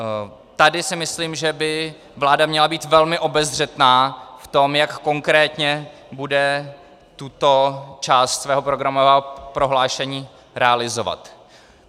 Tady si myslím, že by vláda měla být velmi obezřetná v tom, jak konkrétně bude tuto část svého programového prohlášení realizovat.